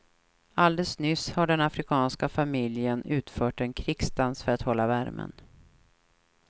Alldeles nyss har den afrikanska familjen utfört en krigsdans för att hålla värmen.